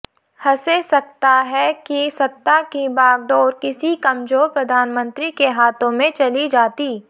हसे सकता है कि सत्ता कि बागडोर किसी कमजोर प्रधानमंत्री के हाथों में चली जाती